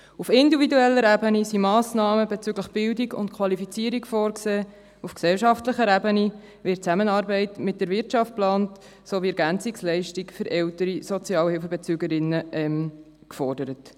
Auf individueller Ebene sind Massnahmen bezüglich Bildung und Qualifizierung vorgesehen, auf gesellschaftlicher Ebene wird die Zusammenarbeit mit der Wirtschaft geplant sowie EL für ältere Sozialhilfebezügerinnen und -bezüger gefordert.